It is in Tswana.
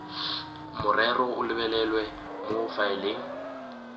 morero o lebelelwe mo faeleng